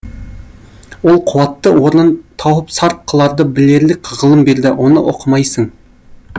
ол қуатты орнын тауып сарп қыларды білерлік ғылым берді оны оқымайсың